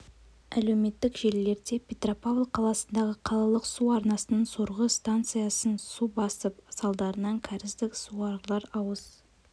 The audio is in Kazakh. әлеуметтік желілерде петропавл қаласындағы қалалық су арнасының сорғы станциясын су басып салдарынан кәріздік суағарлар ауыз